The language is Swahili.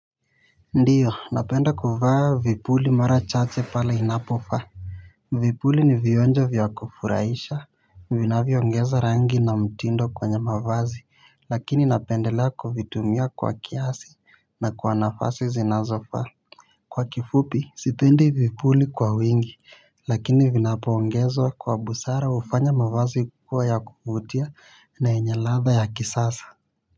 Ndiyo napenda kuvaa vipuli mara chache pala inapofa vipuli ni vionjo vya kufurahisha vinavyo ongeza rangi na mtindo kwenye mavazi lakini napendelea kuvitumia kwa kiasi na kwa nafasi zinazofaa kwa kifupi sipendi vipuli kwa wingi lakini vinapoongezwa kwa busara ufanya mavazi kua ya kuvutia na yenye ladha ya kisasa.